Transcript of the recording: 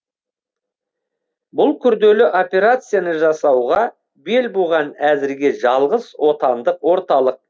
бұл күрделі операцияны жасауға бел буған әзірге жалғыз отандық орталық